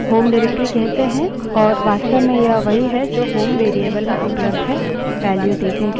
इस निर्देशिका directory को home निर्देशिका directory कहते हैं और यह वास्तव में यह वही है जो home variable में उपलब्ध है